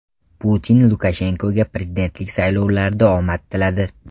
Putin Lukashenkoga prezidentlik saylovlarida omad tiladi.